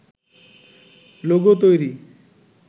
logo তৈরি